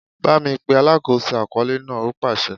Bámi pe alákòóso àkọọ́lẹ̀ náà! ó pàsẹ.